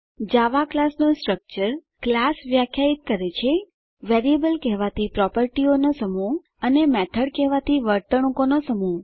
જાવા ક્લાસનું structure class વ્યાખ્યાયિત કરે છે વેરીએબલ કહેવાતી પ્રોપર્ટીઓનો સમૂહ અને મેથડ કહેવાતી વર્તણુકોનો સમૂહ